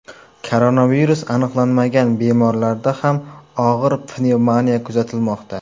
Koronavirus aniqlanmagan bemorlarda ham og‘ir pnevmoniya kuzatilmoqda.